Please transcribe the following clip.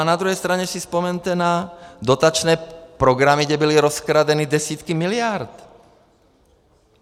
A na druhé straně si vzpomeňte na dotační programy, kde byly rozkradeny desítky miliard.